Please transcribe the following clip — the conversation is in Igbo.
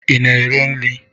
Ị na-ere nri?